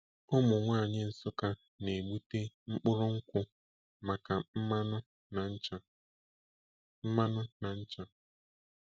Ụmụ nwanyị Nsukka na-egbute mkpụrụ nkwụ maka mmanụ na ncha. mmanụ na ncha.